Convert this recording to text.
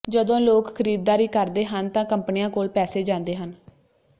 ਜਦੋਂ ਲੋਕ ਖਰੀਦਦਾਰੀ ਕਰਦੇ ਹਨ ਤਾਂ ਕੰਪਨੀਆਂ ਕੋਲ ਪੈਸੇ ਜਾਂਦੇ ਹਨ